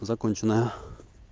законченная